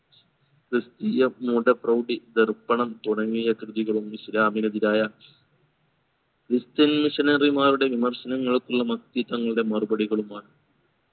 ക്രിസ്ത്യതീയ മൂഢ പ്രൗഡി ദർപ്പണം തുടങ്ങിയ കൃതികളും ഇസ്ലാമിന് എതിരായ christian missionary മാരുടെ വിമർശനങ്ങൾക്കുള്ള മത്തി തങ്ങളുടെ മറുപടികളുമാണ്